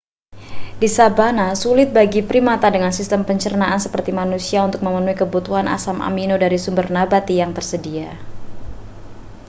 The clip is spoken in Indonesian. di sabana sulit bagi primata dengan sistem pencernaan seperti manusia untuk memenuhi kebutuhan asam amino dari sumber nabati yang tersedia